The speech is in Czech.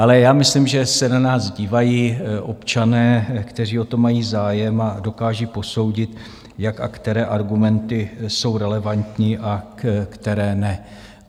Ale já myslím, že se na nás dívají občané, kteří o to mají zájem a dokážou posoudit, jak a které argumenty jsou relevantní a které ne.